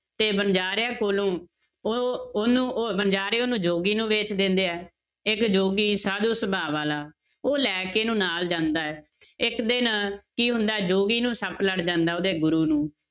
ਤੇ ਵਣਜ਼ਾਰਿਆਂ ਕੋਲੋਂ ਉਹ ਉਹਨੂੰ ਉਹ ਵਣਜ਼ਾਰੇ ਉਹਨੂੰ ਜੋਗੀ ਨੂੰ ਵੇਚ ਦਿੰਦੇ ਹੈ, ਇੱਕ ਜੋਗੀ ਸਾਧੂ ਸੁਭਾਅ ਵਾਲਾ ਉਹ ਲੈ ਕੇ ਇਹਨੂੰ ਨਾਲ ਜਾਂਦਾ ਹੈ, ਇੱਕ ਦਿਨ ਕੀ ਹੁੰਦਾ ਹੈ ਜੋਗੀ ਨੂੰ ਸੱਪ ਲੜ ਜਾਂਦਾ ਹੈ ਉਹਦੇ ਗੁਰੂ ਨੂੰ,